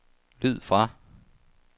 lyd fra